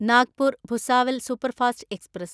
Nagpur Bhusawal superfast express